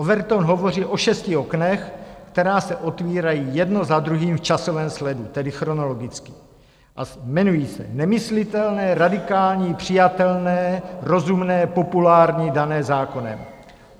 Overton hovoří o šesti oknech, která se otvírají jedno za druhým v časovém sledu, tedy chronologicky, a jmenují se: nemyslitelné, radikální, přijatelné, rozumné, populární, dané zákonem.